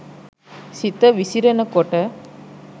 සිත විසිරෙන කොට